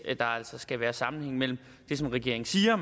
der altså skal være sammenhæng mellem det som regeringen siger